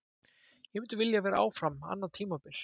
Ég myndi vilja vera áfram annað tímabil.